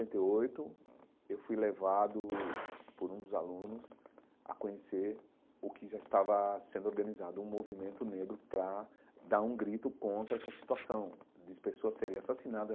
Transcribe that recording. e oito, eu fui levado por um dos alunos a conhecer o que já estava sendo organizado, um movimento negro para dar um grito contra essa situação de pessoas serem assassinadas.